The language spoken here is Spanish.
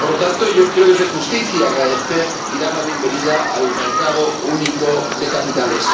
Por lo tanto, yo creo que es de justicia agradecer y dar la bienvenida al mercado único de capitales.